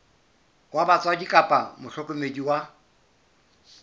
wa batswadi kapa mohlokomedi wa